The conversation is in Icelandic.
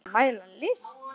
Hægt að mæla list?